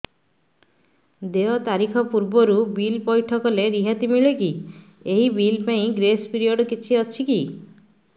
ଦେୟ ତାରିଖ ପୂର୍ବରୁ ବିଲ୍ ପୈଠ କଲେ ରିହାତି ମିଲେକି ଏହି ବିଲ୍ ପାଇଁ ଗ୍ରେସ୍ ପିରିୟଡ଼ କିଛି ଅଛିକି